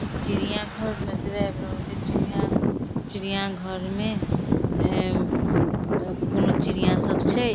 एक चिड़िया घर नजर आब रहल ये चिड़िया चिड़िया घर में कोनो चिड़िया सब छै ।